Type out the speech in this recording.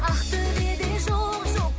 ақтөбеде жоқ жоқ